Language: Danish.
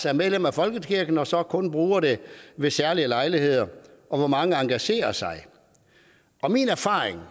er medlem af folkekirken og så kun bruger den ved særlige lejligheder og hvor mange der engagerer sig min erfaring